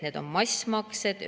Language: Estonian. Need on massmaksed.